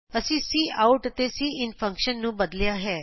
ਅਸੀਂ ਕਾਉਟ ਅਤੇ cin function ਨੂੰ ਬਦਲਿਆ ਹੈ